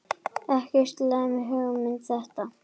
Ekki slæm hugmynd þetta.